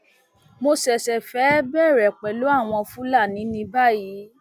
mo ṣẹṣẹ fẹẹ bẹrẹ pẹlú àwọn fúlàní ní báyìí